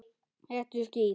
Viljið fá það fyrir þingrof?